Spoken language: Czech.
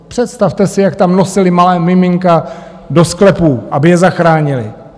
Představte si, jak tam nosili malá miminka do sklepů, aby je zachránili.